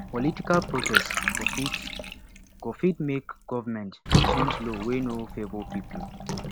political protest go fit go fit make government change law wey no favor pipo